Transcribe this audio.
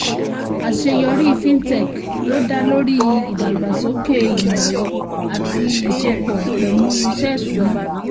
àṣeyọrí fintech ló dá lórí ìdàgbàsókè imọ ẹrọ ati ìṣepọ̀ pẹ̀lú iṣẹ́ ìṣúná.